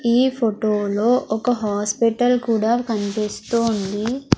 ఈ ఫొటో లో ఒక హాస్పిటల్ కూడా కన్పిస్తూ ఉంది.